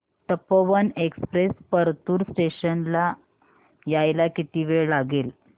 Tapovan express Partur station ला यायला किती वेळ लागेल